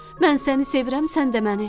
Mən səni sevirəm, sən də məni.